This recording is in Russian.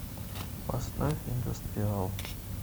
поставь индастриал